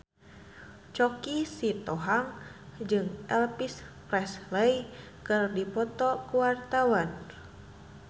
Choky Sitohang jeung Elvis Presley keur dipoto ku wartawan